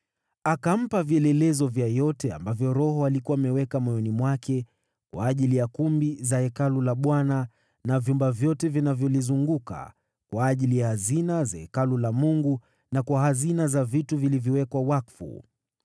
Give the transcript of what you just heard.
Akampa vielelezo vya yote Roho alikuwa ameviweka moyoni mwake kwa ajili ya kumbi za Hekalu la Bwana na vyumba vyote vilivyolizunguka, kwa ajili ya hazina za Hekalu la Mungu na kwa hazina za vitu vilivyowekwa wakfu.